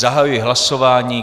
Zahajuji hlasování.